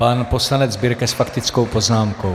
Pan poslanec Birke s faktickou poznámkou.